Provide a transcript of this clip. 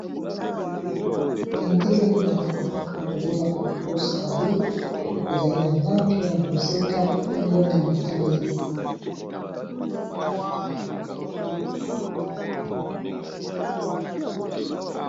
Bendele ya mboka babengaka ngo australie ezali na langi ya bozinga pembe na motane.